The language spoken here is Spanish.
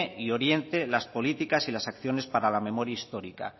y oriente las políticas y las acciones para la memoria histórica